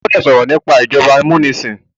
o gbódò sọrọ nipa ìjọba amunisin